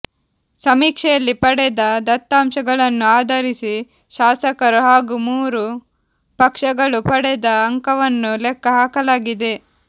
ಸಮೀಕ್ಷೆಯಲ್ಲಿ ಪಡೆದ ದತ್ತಾಂಶಗಳನ್ನು ಆಧರಿಸಿ ಶಾಸಕರು ಹಾಗೂ ಮೂರು ಪಕ್ಷಗಳು ಪಡೆದ ಅಂಕವನ್ನು ಲೆಕ್ಕ ಹಾಕಲಾಗಿದೆ